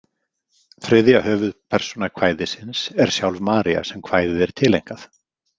Þriðja höfuðpersóna kvæðisins er sjálf María sem kvæðið er tileinkað.